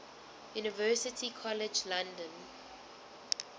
university college london